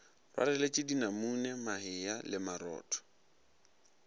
rwaleletše dinamune mahea le marotho